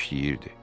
Qoca işləyirdi.